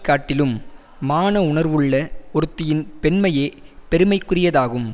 காட்டிலும் மான உணர்வுள்ள ஒருத்தியின் பெண்மையே பெருமைக்குரியதாகும்